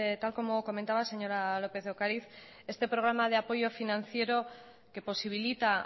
tal como comentaba señora lópez de ocariz este programa de apoyo financiero que posibilita